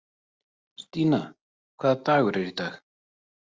Stína, hvaða dagur er í dag?